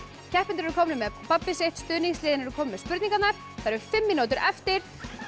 keppendur eru komnir með babbið sitt stuðningsliðin eru komin með spurningarnar það eru fimm mínútur eftir